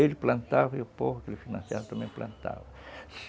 Ele plantava e o povo que ele financiava também plantava.